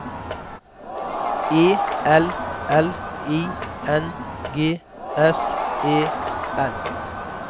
E L L I N G S E N